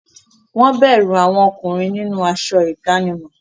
Wọ́n bẹ̀rù àwọn ọkùnrin nínú aṣọ ìdánimọ̀.